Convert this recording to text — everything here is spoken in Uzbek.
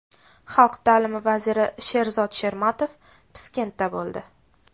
Xalq ta’limi vaziri Sherzod Shermatov Piskentda bo‘ldi.